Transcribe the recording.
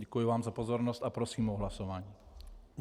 Děkuji vám za pozornost a prosím o hlasování.